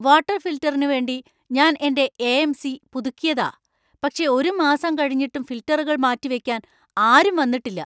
Water ഫിൽട്ടറിനു വേണ്ടി ഞാൻ എന്‍റെ എ.എം.സി. പുതുക്കിയതാ, പക്ഷേ ഒരു മാസം കഴിഞ്ഞിട്ടും ഫിൽട്ടറുകൾ മാറ്റി വെക്കാൻ ആരും വന്നിട്ടില്ല.